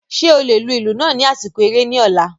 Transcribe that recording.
Ṣe o le lu ilu naa ni asiko ere ni ọla?